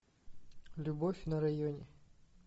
любовь на районе